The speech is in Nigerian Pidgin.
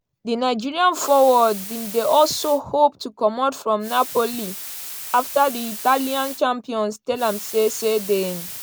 di nigerian forward bin dey also hope to comot from napoli afta di italian champions tell am say say dem